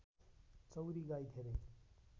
चौँरी गाई धेरै